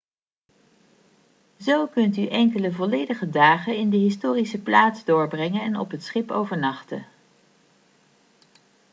zo kunt u enkele volledige dagen in de historische plaats doorbrengen en op het schip overnachten